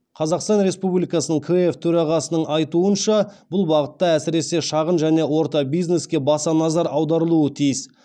қазақстан республикасының кф төрағасының айтуынша бұл бағытта әсіресе шағын және ортас бизнеске баса назар аударылуы тиіс